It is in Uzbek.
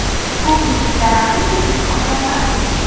Ko‘p yillik daraxtni ko‘chirish osonmas.